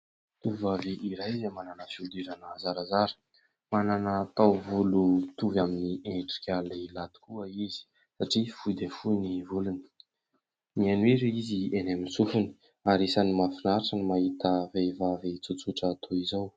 Tovovavy iray izay manana fiodirana zarazara manana taovolo mitovy amin'ny endrika lehilahy tokoa izy satria fohy dia fohy ny volony, mihaino hira izy eny amin'ny sofony ary isany mafinaritra ny mahita vehivavy tsotsotra toy izao.